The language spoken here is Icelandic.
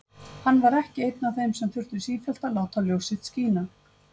Hann var ekki einn af þeim sem þurftu sífellt að láta ljós sitt skína.